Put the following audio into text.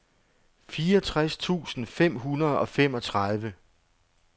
fireogtres tusind fem hundrede og femogtredive